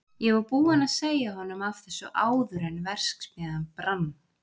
Ég var búinn að segja honum af þessu áður en verksmiðjan brann.